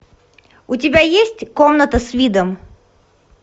у тебя есть комната с видом